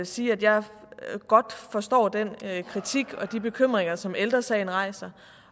sige at jeg godt forstår den kritik og de bekymringer som ældre sagen rejser